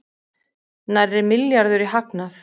Nærri milljarður í hagnað